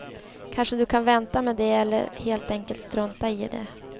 Kanske du ska vänta med det eller helt enkelt strunta i det.